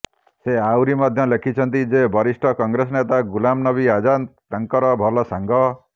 ସେ ଆହୁରି ମଧ୍ୟ ଲେଖିଛନ୍ତି ଯେ ବରିଷ୍ଠ କଂଗ୍ରେସ ନେତା ଗୁଲାମ ନବୀ ଆଜାଦ୍ ତାଙ୍କର ଭଲ ସାଙ୍ଗ